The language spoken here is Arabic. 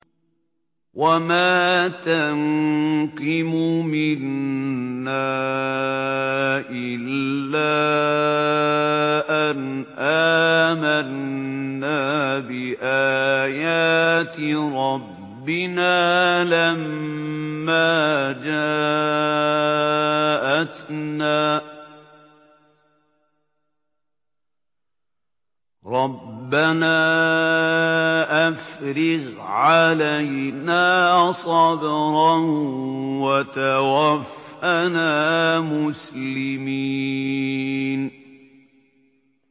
وَمَا تَنقِمُ مِنَّا إِلَّا أَنْ آمَنَّا بِآيَاتِ رَبِّنَا لَمَّا جَاءَتْنَا ۚ رَبَّنَا أَفْرِغْ عَلَيْنَا صَبْرًا وَتَوَفَّنَا مُسْلِمِينَ